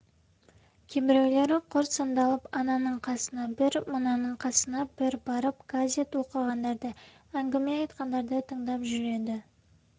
кейбіреулері құр сандалып ананың қасына бір мынаның қасына бір барып газет оқығандарды әңгіме айтқандарды тыңдап жүреді